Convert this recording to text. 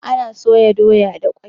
Ana soya doya da kwai.